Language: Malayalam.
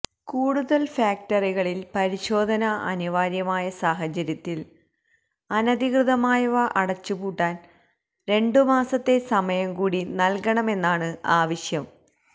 കൂടുതല് ഫാക്ടറികളില് പരിശോധന അനിവാര്യമായ സാഹചര്യത്തില് അനധികൃതമായവ അടച്ചുപൂട്ടാന് രണ്ടു മാസത്തെ സമയം കൂടി നല്കണമെന്നാണ് ആവശ്യം